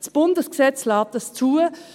Das Bundesgesetz lässt dies zu.